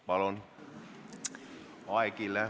Palun!